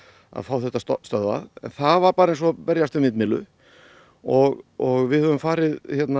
fá þetta stöðvað en það var eins og að berjast við vindmyllu og og við höfum farið